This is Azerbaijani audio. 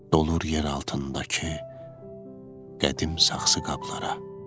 Dolur yer altındakı qədim saxsı qablara.